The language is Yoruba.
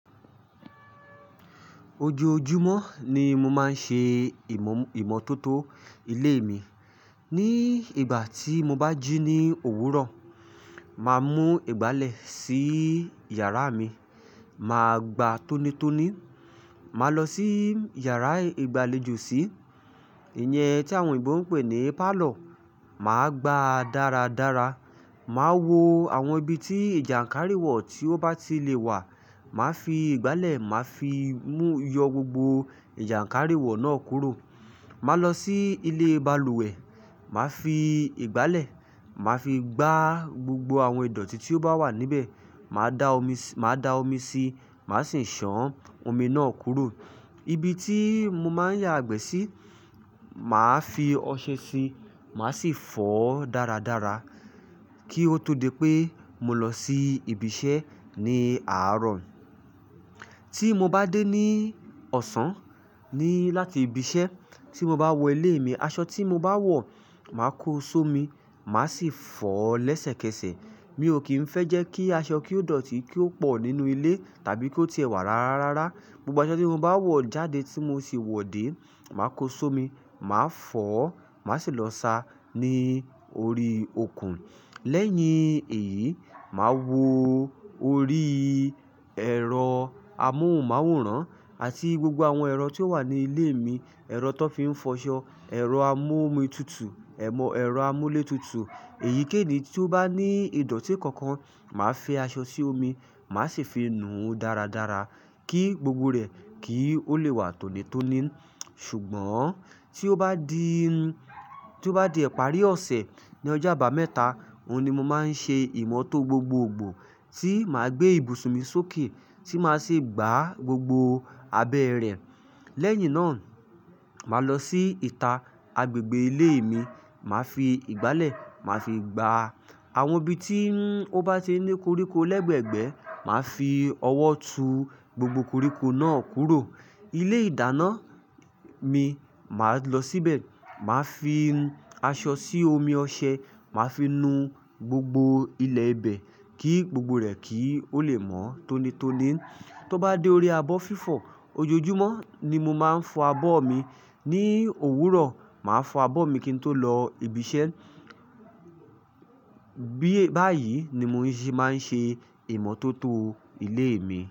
Ojóojumọ ni mo máa ń ṣe ìmọ́tótó ilé mi. Ni ìgbà tí mo bá jí ní òwúrọ̀, màá mú ìgbálẹ̀ sí yàrá mi, màá gbà tónítóní, màá lọ sí yàrá ìgbàlejò sí, ìyẹn tí àwọn òyìnbó ń pè ní parlour, màá gbà dáradára. Màá wo àwọn ibi tí ìjàǹkáríwọ̀ tí ó bá ti lè wà, màá fi ìgbálẹ̀, màá fi yọ gbogbo ìjàǹkáríwọ̀ náà kúrò. Màá lọ sí ilé balùwẹ̀, màá fi ìgbálẹ̀, màá fi gbà gbógbó àwọn ìdọ̀tí tí ó bá wà níbẹ̀. Màá da omi sí, màá sì san omi náà kúrò. Ibi tí mó máa ń yàgbẹ́ sí, màá fi ọṣẹ sí, màá sì fọ̀ dáradára kí ó tó dé pé mo lọ sí ibi iṣẹ́ ní àárọ̀. Tí mo bá dé ní ọ̀sán ni láti ibi iṣẹ́, tí mo bá wọ ilé mi, aṣọ tí mo bá wọ̀, màá kó só mi, màá sì fọ̀ lẹ́sẹ̀kẹsẹ̀. Mi ò kì í fẹ́ jẹ́ kí aṣọ kí ó dọ̀tí, kí ó pọ̀ nínú ilé tàbí kí ó ti ẹ̀wà rárará. Gbógbó aṣọ tí mó bá wọ̀ jáde tí mó sì wọ̀ dé, màá kó só mi, màá fọ̀, màá sì lọ sa ní orí okùn. Lẹ́yìn èyí, màá wo orí ẹ̀rọ amóhùnmáwòrán àti gbógbó àwọn ẹ̀rọ tí ó wà ní ilé mi. Ẹ̀rọ tó fi ń fọṣọ, ẹ̀rọ amú-omi tutù, ẹ̀rọ amú-lé tutù. Èyíkẹ́ẹ̀yí tí ó bá ní ìdọ̀tí kànkàn, màá fẹ aṣọ sí omi, màá sì fi nu dáradára kí gbógbó rẹ̀ kí ó lè wà tónítóní. Ṣùgbọ́n tí ó bá di, tí ó bá di ẹ̀parí ọ̀sẹ̀ ní ọjọ́ àbámẹ́ta, òun ni mo máa ń ṣe ìmọ́tò gbógbógbò. Ti màá gbé ibùsùn mi sókè tí màá sì gbà gbógbó abẹ́ rẹ̀. Lẹ́yìn náà, màá lọ sí ìta ágbègbè ilé mi, màá fi ìgbálẹ̀, màá fi gbà àwọn ibi tí ó bá ti ní kóríkó lẹ́gbẹ̀gbẹ́, màá fi ọwọ́ tu gbógbó kóríkó náà kúrò. Ilé-ìdáná mi, màá lọ síbẹ̀, màá fi aṣọ sí omi ọṣẹ, màá fi nu gbogbo ilẹ̀ ibẹ̀ kí gbogbo rẹ̀ kí ó lè mọ́ tónítóní. Tí ó bá dé orí abọ́ fífọ̀, ojoojúmọ́ ni mo máa ń fọ abọ́ mi. Ni òwúrọ̀, màá fọ abọ́ mi kí n tó lọ ibi iṣẹ́. Bí, báyìí ni mo ṣì máa ń ṣe ìmọ́tótó ilé mi.